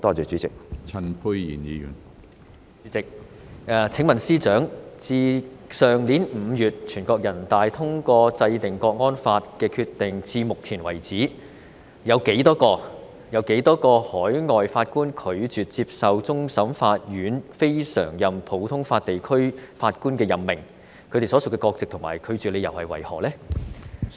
主席，請問司長，自去年5月全國人大通過制定《香港國安法》的決定至目前為止，有多少名海外法官拒絕接受終審法院非常任普通法地區法官的任命，以及他們所屬的國籍及拒絕理由為何？